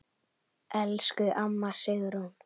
Elsku amma Sigrún.